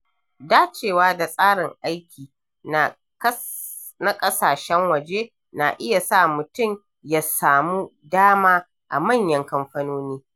Dacewa da tsarin aiki na ƙasashen waje na iya sa mutum ya samu dama a manyan kamfanoni.